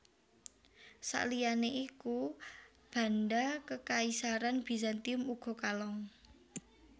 Sakliyane iku banda Kekaisaran Bizantium uga kalong